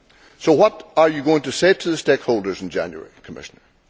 So what are you going to say to the stakeholders in January, Commissioner?